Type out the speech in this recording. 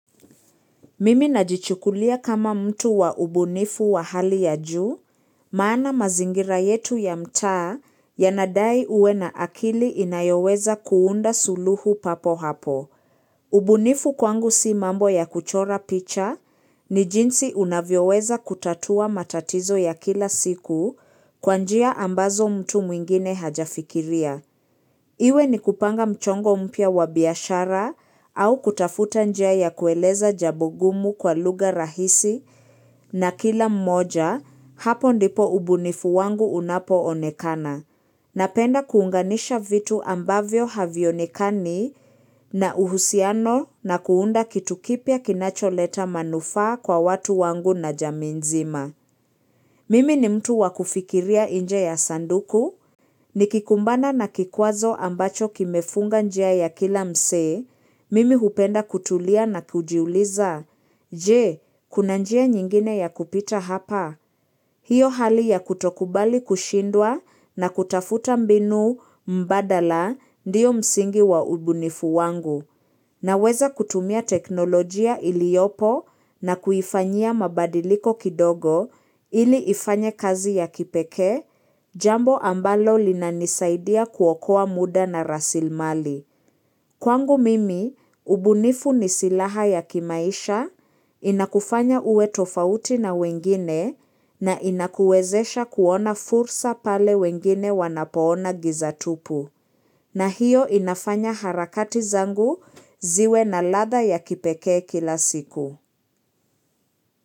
Mimi najichukulia kama mtu wa ubunifu wa hali ya juu, maana mazingira yetu ya mtaa ya nadai uwe na akili inayoweza kuunda suluhu papo hapo. Ubunifu kwangu si mambo ya kuchora picha ni jinsi unavyoweza kutatua matatizo ya kila siku kwanjia ambazo mtu mwingine hajafikiria. Iwe ni kupanga mchongo mpya wabiashara au kutafuta njia ya kueleza jabogumu kwa lugha rahisi na kila mmoja hapo ndipo ubunifu wangu unapo onekana. Napenda kuunganisha vitu ambavyo havionekani na uhusiano na kuunda kitukipya kinacholeta manufaa kwa watu wangu na jamiinzima. Mimi ni mtu wakufikiria inje ya sanduku, nikikumbana na kikwazo ambacho kimefunga njia ya kila mse, mimi hupenda kutulia na kujiuliza, je, kuna njia nyingine ya kupita hapa. Hio hali ya kutokubali kushindwa na kutafuta mbinu mbadala ndio msingi wa ubunifu wangu na weza kutumia teknolojia iliopo na kuifanyia mabadiliko kidogo ili ifanye kazi ya kipekee jambo ambalo linanisaidia kuokoa muda na rasilmali. Kwangu mimi, ubunifu ni silaha ya kimaisha, inakufanya uwe tofauti na wengine na inakuwezesha kuona fursa pale wengine wanapoona gizatupu. Na hiyo inafanya harakati zangu ziwe na ladha ya kipekee kila siku.